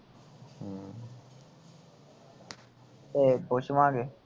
ਓਏ ਪੁੱਛਾਲਾਂ ਗੇ